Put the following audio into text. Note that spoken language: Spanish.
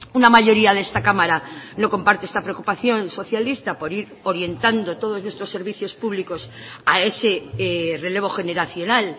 una mayoría de esta cámara no comparte esta preocupación socialista por ir orientando todos nuestros servicios públicos a ese relevo generacional